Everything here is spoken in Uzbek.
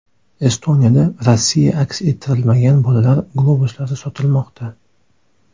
Estoniyada Rossiya aks ettirilmagan bolalar globuslari sotilmoqda.